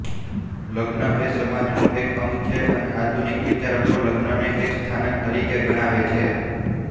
લગ્ન એ સમાજનું એક અંગ છે અને આધુનિક વિચારકો લગ્નને એક સંસ્થાન તરીકે ગણાવે છે